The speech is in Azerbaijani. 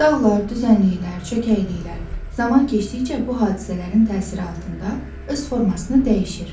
Dağlar, düzənliklər, çökəkliklər, zaman keçdikcə bu hadisələrin təsiri altında öz formasını dəyişir.